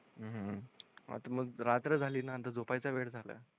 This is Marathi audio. हम्म आता मग रात्र झाली नंतर झोपाय चा वेळ झालं.